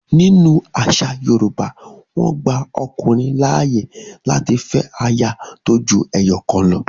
In Yoruba tradition, a man is allowed to marry more than one wife